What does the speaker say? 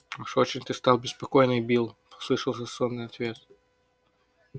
уж очень ты стал беспокойный билл послышался сонный ответ